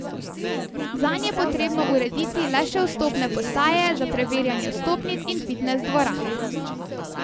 Zanj je potrebno urediti le še vstopne postaje za preverjanje vstopnic in fitnes dvorano.